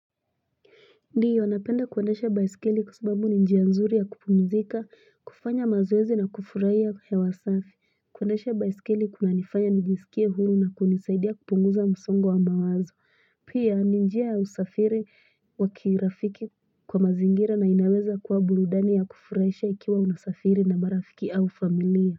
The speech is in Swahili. Ndiyo napenda kuendesha baiskeli kwa sababu ni njia nzuri ya kupumzika, kufanya mazoezi na kufurahia hewa safi. Kuendesha baiskeli kuna nifanya nijisikie huru na kunisaidi ya kupunguza msongo wa mawazo. Pia, ninjia ya usafiri wa kirafiki kwa mazingira na inaweza kwa burudani ya kufurahisha ikiwa unasafiri na marafiki au familia.